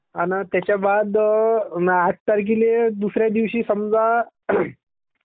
आणि त्याच्या बाद आठ तारख्येल्ये दुसऱ्या दिवशी समजा Cough